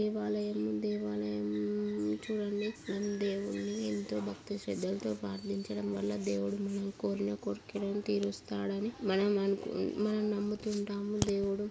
ఇవాళ ఏం దేవాలయం చూడండి మనం దేవున్నీ ఎంతో భక్తి శ్రద్ధలతో ప్రార్థించడం వల్ల దేవుడు మనం కోరిన కోరికలను తీరుస్తాడని మనం అనుకుం మనం నమ్ముతుంటాము దేవుడు--